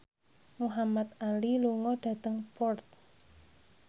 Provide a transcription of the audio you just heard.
Muhamad Ali lunga dhateng Perth